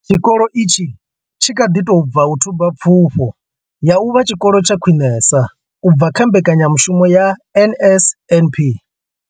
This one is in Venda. Tshikolo itshi tshi kha ḓi tou bva u thuba Pfufho ya u vha Tshikolo tsha Khwinesa u bva kha mbekanya mushumo ya NSNP.